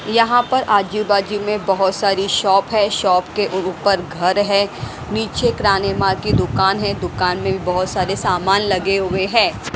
यहां पर आजू बाजू में बहोत सारी शॉप है शॉप के ऊपर घर है नीचे किराने मा की दुकान है दुकान में भी बहोत सारे सामान लगे हुए हैं।